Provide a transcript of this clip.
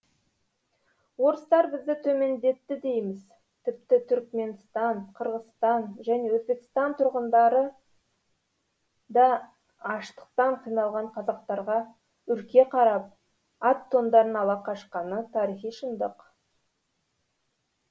орыстар бізді төмендетті дейміз тіпті түркменстан қырғызстан және өзбекстан тұрғындары да аштықтан қиналған қазақтарға үрке қарап ат тондарын ала қашқаны тарихи шындық